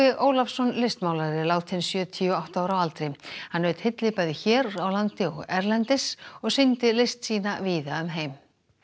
Ólafsson listmálari er látinn sjötíu og átta ára að aldri hann naut hylli bæði hér á landi og erlendis og sýndi list sína víða um heim